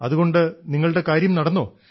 അതുകൊണ്ട് നിങ്ങളുടെ കാര്യം നടന്നോ